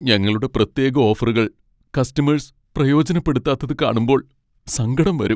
ഞങ്ങളുടെ പ്രത്യേക ഓഫറുകൾ കസ്റ്റമേഴ്സ് പ്രയോജനപ്പെടുത്താത് കാണുമ്പോൾ സങ്കടം വരും.